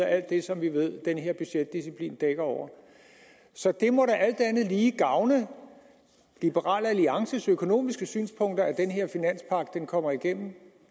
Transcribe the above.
alt det som vi ved den her budgetdisciplin dækker over så det må da alt andet lige gavne liberal alliances økonomiske synspunkter at den her finanspagt kommer igennem